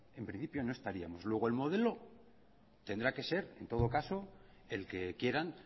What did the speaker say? en principio no estaríamos luego el modelo tendrá que ser en todo caso el que quieran